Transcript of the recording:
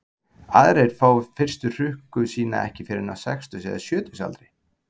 Aðrir fá fyrstu hrukku sína ekki fyrr en á sextugs- eða sjötugsaldri.